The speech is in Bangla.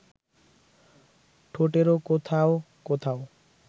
ঠোঁটেরও কোথাও কোথাও